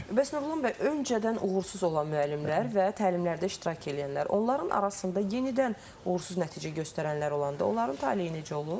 Bəs Nurlan bəy, öncədən uğursuz olan müəllimlər və təlimlərdə iştirak eləyənlər, onların arasında yenidən uğursuz nəticə göstərənlər olanda, onların taleyi necə olur?